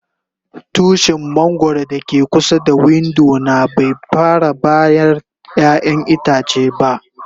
Tushin mangoro da ke kusa da window na bai fara bayar ƴayan itace ba.